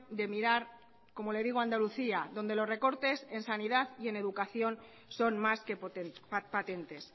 de mirar como le digo andalucía donde los recortes en sanidad y en educación son más que patentes